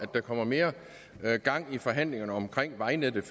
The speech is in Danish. der kommer mere gang i forhandlingerne omkring vejnettet